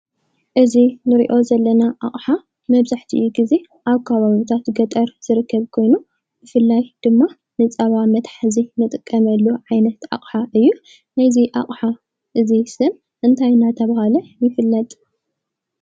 እዚ ንሪኦ ዘለና ኣቕሓ መብዛሕቲኡ ግዜ ኣብ ከባብታት ገጠር ዝርከብ ኮይኑ ብፍላይ ድማ ንፃባ መትሓዚ ንጥቀመሉ ዓይነት ሓቕሓ እዩ። ናይ እዚ ኣቕሓ እዙይ ሽም እንታይ እናተባህለ ይፍለጥ?